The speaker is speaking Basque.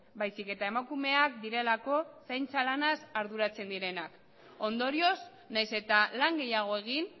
baizik eta emakumeak direlako zaintza lanaz arduratzen direnak ondorioz nahiz eta lan gehiago egin